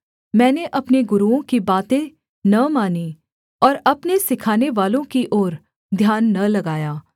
मैंने अपने गुरूओं की बातें न मानीं और अपने सिखानेवालों की ओर ध्यान न लगाया